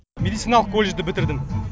медициналық колледжді бітірдім